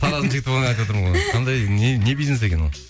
тараздың жігіті айтып отырмын ғой не бизнес екен ол